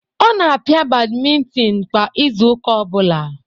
Ọ na-pia badminton kwa izu ụka ọ bụla